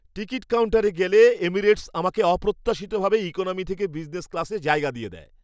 Ticket কাউন্টারে গেলে Emirates আমাকে অপ্রত্যাশিতভাবে ইকোনমি থেকে বিজনেস ক্লাসে জায়গা দিয়ে দেয়!